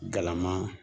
Galama